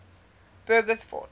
bugersfort